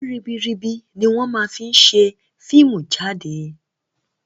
Owó ribiribi ni wọn fii máa ń ṣe fíìmù jáde